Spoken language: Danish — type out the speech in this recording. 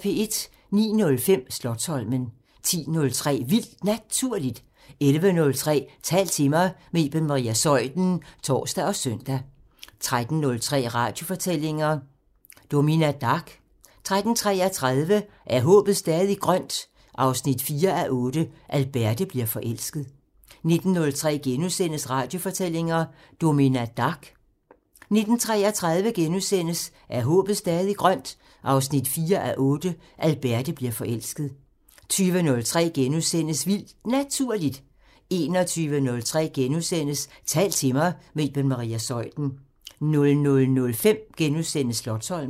09:05: Slotsholmen 10:03: Vildt Naturligt 11:03: Tal til mig – med Iben Maria Zeuthen (tor og søn) 13:03: Radiofortællinger: Domina Dark 13:33: Er håbet stadig grønt? 4:8 – Alberte bliver forelsket 19:03: Radiofortællinger: Domina Dark * 19:33: Er håbet stadig grønt? 4:8 – Alberte bliver forelsket * 20:03: Vildt Naturligt * 21:03: Tal til mig – med Iben Maria Zeuthen * 00:05: Slotsholmen *